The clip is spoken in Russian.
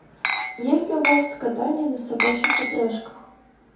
есть ли у вас катание на собачьих упряжках